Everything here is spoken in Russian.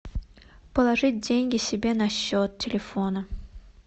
положить деньги себе на счет телефона